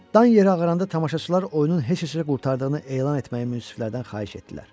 Dan yeri ağaranda tamaşaçılar oyunun heç heçə qurtardığını elan etməyi münsiflərdən xahiş etdilər.